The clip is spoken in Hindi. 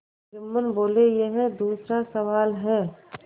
जुम्मन बोलेयह दूसरा सवाल है